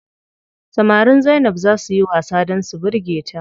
Samarin Zainab zaa suyi wasa dan su birge ta.